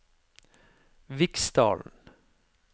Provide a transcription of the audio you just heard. Viksdalen